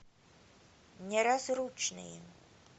неразлучные